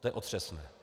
To je otřesné.